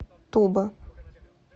туба